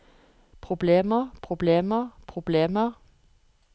problemer problemer problemer